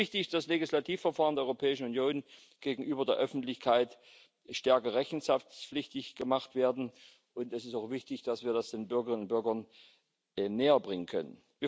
Es ist wichtig, dass Legislativverfahren der Europäischen Union gegenüber der Öffentlichkeit stärker rechenschaftspflichtig gemacht werden, und es ist auch wichtig, dass wir das den Bürgerinnen und Bürgern näherbringen können.